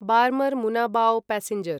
Barmer Munabao passenger